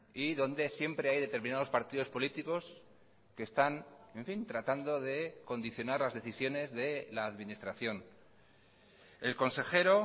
y donde siempre hay determinados partidos políticos que están tratando de condicionar las decisiones de la administración el consejero